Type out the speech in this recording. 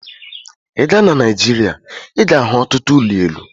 I gaa na Nigeria, I ga-ahu ọtụtụ ụlọ elu